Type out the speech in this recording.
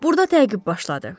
Burda təqib başladı.